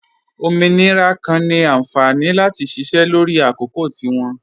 Ọmọnirà kan ni ànfání láti ṣíṣẹ́ lọrì àkọ̀kò tí wọn.